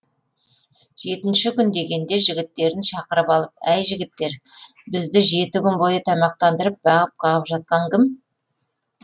жетінші күн дегенде жігіттерін шақырып алып әй жігіттер бізді жеті күн бойы тамақтандырып бағып қағып жатқан кім